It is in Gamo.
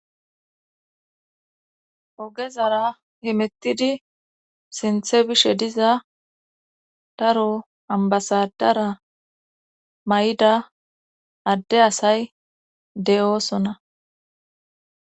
ogezara himettidi sinthe bishe diza daro ambasadara may7ida adde asay de7oosona